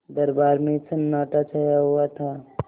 दरबार में सन्नाटा छाया हुआ था